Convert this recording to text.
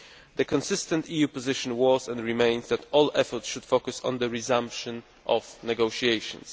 The EU's consistent position has been, and remains, that all efforts should focus on the resumption of negotiations.